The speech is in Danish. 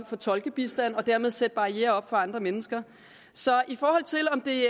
tolkebistand og dermed sætte barrierer op for andre mennesker så i forhold til om det